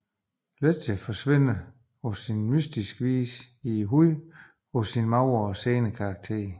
Ledger forsvinder på mystisk vis ned i huden på sin magre og senede karakter